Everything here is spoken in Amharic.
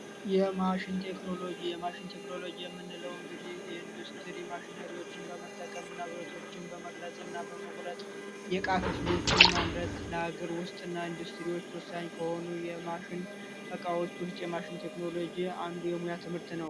የማሽን ቴክኖሎጂ፦ የማሽን ቴክኖሎጂ የምንለው እንግዲህ ኢንዱስትሪ ማሸኖችን በመጠቀም ብረቶችን በመቅረጽና በመቁረጥ የእቃ ክፍሎችን ማምረት፣ ለሀገር ውስጥና ኢንዱስትሪ ወሳኝ ከሆኑ የማሽን ዕቃዎች ውስጥ አንዱ የማሽን የሙያ ትምህርት ነው።